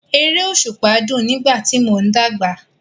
Eré òṣùpá dùn nígbà tí mò ń dàgbà.